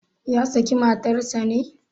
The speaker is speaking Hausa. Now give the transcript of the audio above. Ya saki matarsa ne?